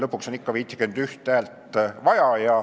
Lõpuks on ikka 51 häält vaja.